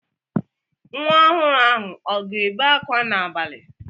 Nwa ọhụrụ ahụ ọ ga-ebe akwa n'abalị?